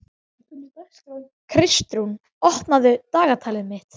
Kristrún, opnaðu dagatalið mitt.